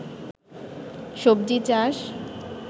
সবজি চাষ